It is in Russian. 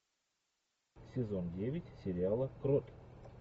сезон девять сериала крот